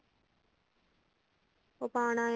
ਉਹ ਪਾਣਾ ਆ